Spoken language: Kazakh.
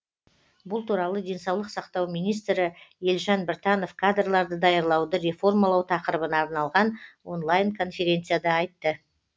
бұл туралы денсаулық сақтау министрі елжан біртанов кадрларды даярлауды реформалау тақырыбына арналған онлайн конференцияда айтты